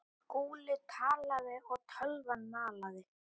Skúli talaði og tölvan malaði.